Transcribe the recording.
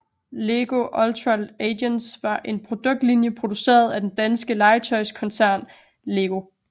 Lego Ultra Agents var en produktlinje produceret af den danske legetøjskoncern LEGO